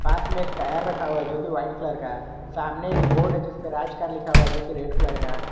पास में एक टायर रखा हुआ है जो की वाइट कलर का है सामने एक बोर्ड है जिस पे राज कार लिखा हुआ है जो की रेड कलर का है।